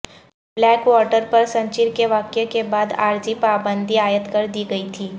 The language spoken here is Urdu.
بلیک واٹر پر سنچیر کے واقعہ کے بعد عارضی پابندی عائد کر دی گئی تھی